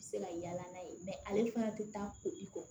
Se ka yala n'a ye ale fana tɛ taa ko i kɔ